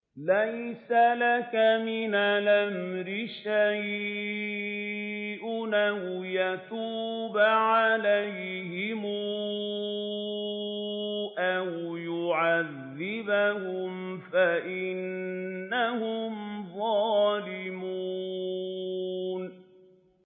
لَيْسَ لَكَ مِنَ الْأَمْرِ شَيْءٌ أَوْ يَتُوبَ عَلَيْهِمْ أَوْ يُعَذِّبَهُمْ فَإِنَّهُمْ ظَالِمُونَ